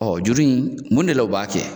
Ɔ juru in mun de la u b'a kɛ